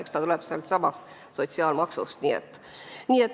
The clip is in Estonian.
Eks see tuleb sealtsamast sotsiaalmaksust.